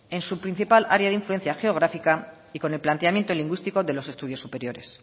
en su principal área de influencia geográfica y con el planteamiento lingüístico de los estudios superiores